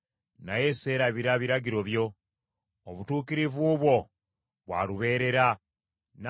Obutuukirivu bwo bwa lubeerera, n’amateeka go ga mazima.